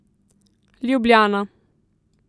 Ljubljana.